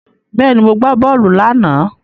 Bẹ́ẹ̀ni, mo gbá bọ́ọ̀lù láàná.